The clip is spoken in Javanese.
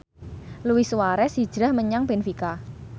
Luis Suarez hijrah menyang benfica